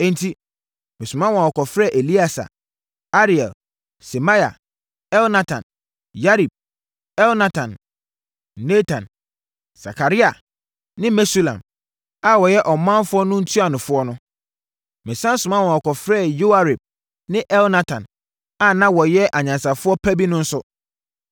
Enti, mesoma ma wɔkɔfrɛɛ Elieser, Ariel, Semaia, Elnatan, Yarib, Elnatan, Natan, Sakaria ne Mesulam, a wɔyɛ ɔmanfoɔ no ntuanofoɔ no. Mesane soma ma wɔkɔfrɛɛ Yoiarib ne Elnatan, a na wɔyɛ anyansafoɔ pa bi no nso.